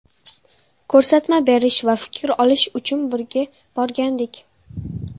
Ko‘rsatma berish va fikr olish uchun birga borgandik.